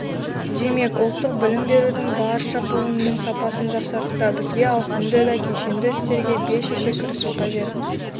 демек ұлттық білім берудің барша буынының сапасын жақсартуда бізге ауқымды да кешенді істерге бел шеше кірісу қажет